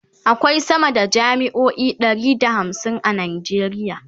akwai sama da jami'o'i Ɗari da hamsin a nigeria